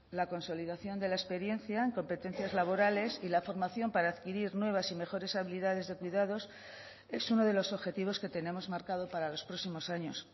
la consolidación de la experiencia en competencias laborales y la formación para adquirir nuevas y mejores habilidades de cuidados es uno de los objetivos que tenemos marcado para los próximos años